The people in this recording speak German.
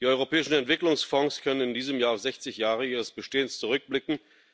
Die Europäischen Entwicklungsfonds können in diesem Jahr auf 60 Jahre ihres Bestehens zurückblicken.